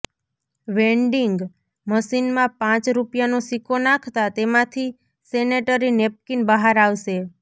vending મશીનમાં પાંચ રૂપિયાનો સિક્કો નાખતા તેમાંથી સેનેટરી નેપકીન બહાર આવશે